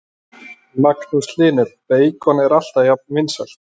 Magnús Hlynur: Beikon er alltaf jafnt vinsælt?